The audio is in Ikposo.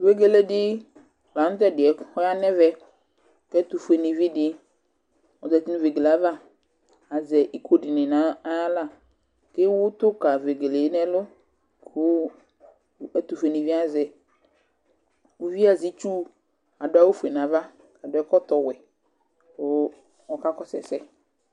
Vegele di la nʋ tʋ ɛdɩ yɛ kʋ ɔya nʋ ɛvɛ Kʋ ɛtʋfuenivi di ozǝtɩ nʋ vegele yɛ ava Azɛ iko dɩnɩ nʋ ayʋ aɣla kʋ ewʋtʋ kʋ vegele yɛ nʋ ɛlʋ Kʋ ɛtʋfuenivi yɛ azɛ itsu Adʋ awʋfue nʋ ava, adʋ ɛkɔtɔɛwɛ kʋ ɔka kɔsʋ ɛsɛ